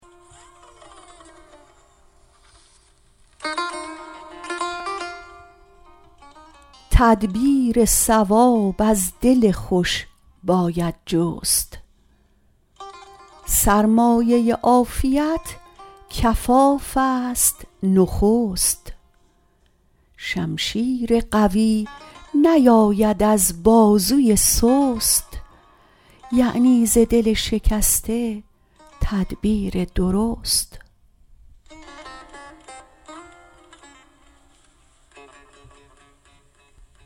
تدبیر صواب از دل خوش باید جست سرمایه عافیت کفافست نخست شمشیر قوی نیاید از بازوی سست یعنی ز دل شکسته تدبیر درست